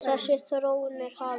Þessi þróun er hafin.